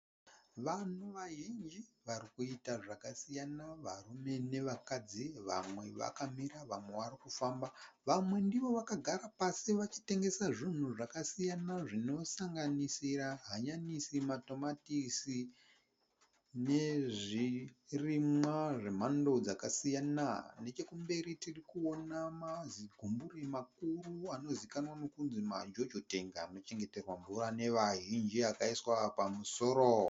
Vanhu vazhinji vari kuita zvakasiyana. Varume nevakadzi vamwe vakamira vamwe vari kufamba. Vamwe ndivo vakagara pasi vachitengesa zvinhu zvakasiyana zvinosanganisira hanyanisi, matomatisi nezvirimwa zvemhando dzakasiyana. Nechekumberi tiri kuona mazigumburi makuru anozivikanwa nekunzi majojo tengi anochengeterwa mvura nevazhinji akaiswa pamusoro.